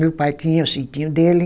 Meu pai tinha o sitinho dele.